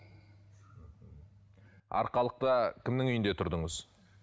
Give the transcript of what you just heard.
арқалықта кімнің үйінде тұрдыңыз